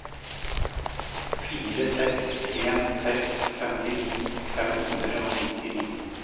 fire seks en seks femtini fem hundre og nittini